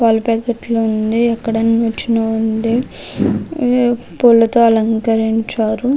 పాల పాకెట్ లు ఉంది అక్కడ నిచ్చెన ఉంది. ఆ పూలతో అలంకరించారు.